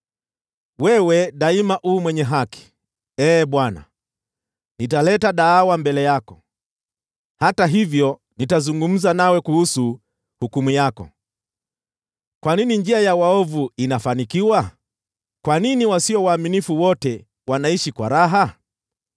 Wewe daima u mwenye haki, Ee Bwana , niletapo mashtaka mbele yako. Hata hivyo nitazungumza nawe kuhusu hukumu yako: Kwa nini njia ya waovu inafanikiwa? Kwa nini wasio waaminifu wote wanaishi kwa raha?